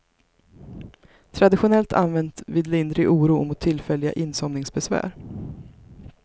Traditionellt använt vid lindrig oro och mot tillfälliga insomningsbesvär.